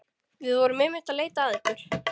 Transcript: Við vorum einmitt að leita að ykkur.